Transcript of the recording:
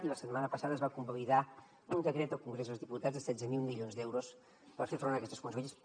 i la setmana passada es va convalidar un decret al congrés dels diputats de setze mil milions d’euros per fer front a aquestes conseqüències